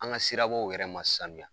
An ka sirabw yɛrɛ ma sanuya.